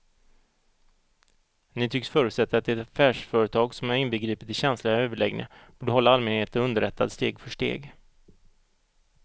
Ni tycks förutsätta att ett affärsföretag som är inbegripet i känsliga överläggningar borde hålla allmänheten underrättad steg för steg.